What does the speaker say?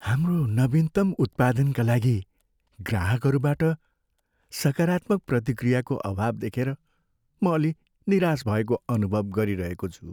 हाम्रो नवीनतम उत्पादनका लागि ग्राहकहरूबाट सकारात्मक प्रतिक्रियाको अभाव देखेर म अलि निराश भएको अनुभव गरिरहेको छु।